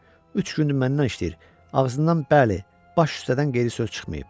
Üç gündür məndən işləyir, ağzından bəli, baş üstədən qeyri söz çıxmayıb.